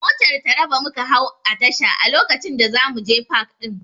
Motar Taraba muka hau a tasha a lokacin da zamuje pak ɗin